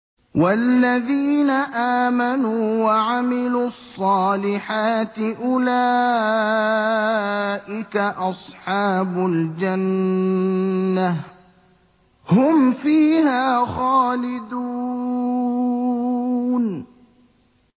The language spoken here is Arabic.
وَالَّذِينَ آمَنُوا وَعَمِلُوا الصَّالِحَاتِ أُولَٰئِكَ أَصْحَابُ الْجَنَّةِ ۖ هُمْ فِيهَا خَالِدُونَ